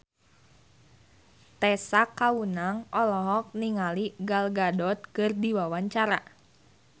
Tessa Kaunang olohok ningali Gal Gadot keur diwawancara